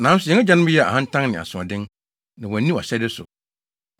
“Nanso yɛn agyanom yɛɛ ahantan ne asoɔden, na wɔanni wʼahyɛde so.